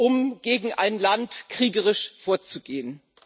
um gegen ein Land kriegerisch vorzugehen.